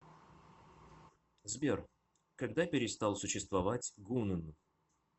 сбер когда перестал существовать гунн